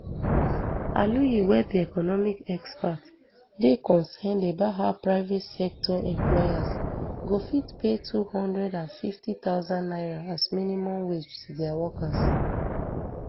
aluyi wey be economy expert dey concerned about how private sector employers go fit pay two hundred and fifty thousand naira as minimum wage to dia workers